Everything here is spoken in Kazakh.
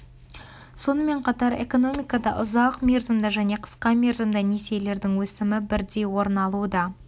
сонымен қатар экономикада ұзақ мерзімді және қысқа мерзімді несиелердің өсімі бірдей орын алуда